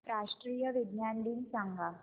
राष्ट्रीय विज्ञान दिन सांगा